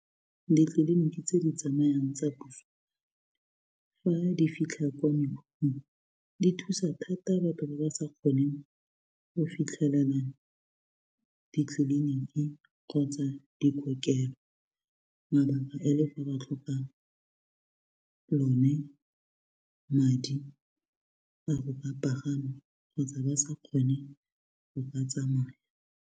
Ditleliniki tse di tsamayang tsa puso fa di fitlha kwa mekhukhung di thusa thata batho ba ba sa kgoneng go fitlhelela ditleliniki kgotsa dikokelo mabaka e le gore ba tlhoka one madi a go ka pagama kgotsa ba sa kgone go ka tsamaya.